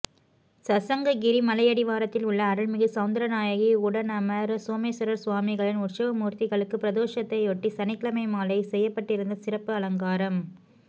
சசங்ககிரி மலையடிவாரத்தில் உள்ள அருள்மிகு சௌந்தரநாயகி உடனமர் சோமேஸ்வரர் சுவாமிகளின் உற்சவமூர்த்திகளுக்கு பிரதோஷத்தையொட்டி சனிக்கிழமை மாலை செய்யப்பட்டிருந்த சிறப்பு அலங்காரம்